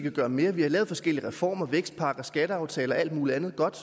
at gøre mere vi har lavet forskellige reformer vækstpakker skatteaftaler og alt mulig andet godt